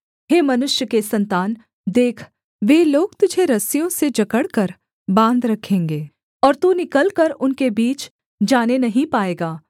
हे मनुष्य के सन्तान देख वे लोग तुझे रस्सियों से जकड़कर बाँध रखेंगे और तू निकलकर उनके बीच जाने नहीं पाएगा